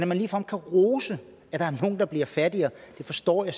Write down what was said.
man ligefrem kan rose at der er nogle der bliver fattigere det forstår jeg